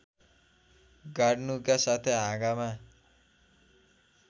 गाड्नुका साथै हाँगामा